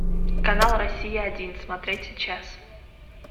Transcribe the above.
канал россия один смотреть сейчас